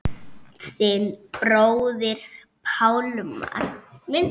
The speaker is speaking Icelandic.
Þinn bróðir Pálmar.